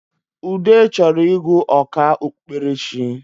Ude chọrọ ịgụ ọkà okpukperechi